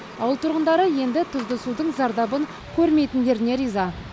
ауыл тұрғындары енді тұзды судың зардабын көрмейтіндеріне риза